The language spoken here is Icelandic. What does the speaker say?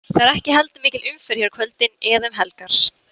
Það er ekki heldur mikil umferð hér á kvöldin eða um helgar.